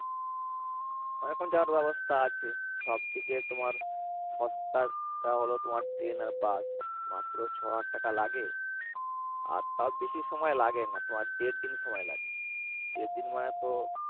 অনেক্রকম যাওয়ার ব্যবস্থা আছে। সব থেকে তোমার সস্তাটা হল তোমার ট্রেন আর বাস। মাত্র ছয় হাজার টাকা লাগে আর তা বেশি সময় লাগে না। দেড় দিন সময় লাগে। দেড় দিন মানে তো